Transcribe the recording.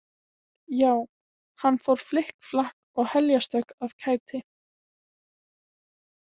Já, hann fór flikk flakk og heljarstökk af kæti.